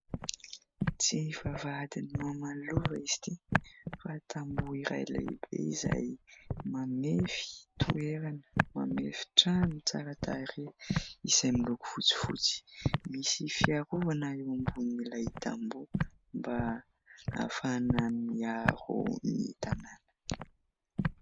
Tsy vavahadin'i maman'i Lova izy ity fa tamboho iray lehibe izay mamefy toerana, mamefy trano tsara tarehy izay miloko fotsifotsy. Misy fiarovana eo ambonin'ilay tamboho mba ahafahana miaro ny tanàna.